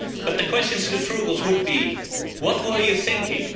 But the questions to the Frugals would be, what were you thinking?